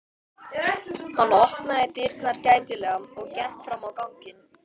Hann opnaði dyrnar gætilega og gekk fram á ganginn.